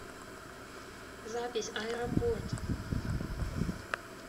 запись аэропорт